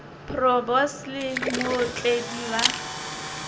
bro boss le mootledi ba